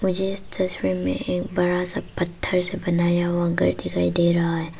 मुझे इस तस्वीर में एक बड़ा सा पत्थर से बनाया हुआ घर दिखाई दे रहा है।